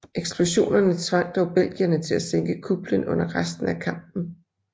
Eksplosionerne tvang dog belgierne til at sænke kuplen under resten af kampen